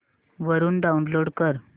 वरून डाऊनलोड कर